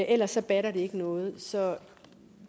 ellers batter det ikke noget så